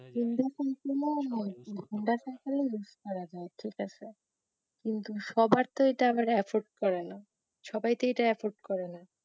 use করা যায় ঠিক আছে কিন্তু সবার তো এটা আবার afford করেনা সবাই তো এটা afford করেনা